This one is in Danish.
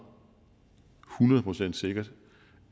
hundrede procent sikkert